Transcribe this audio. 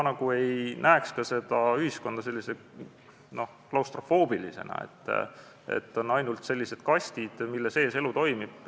Ma ei näeks ühiskonda klaustrofoobilisena, et on ainult kastid, mille sees elu toimub.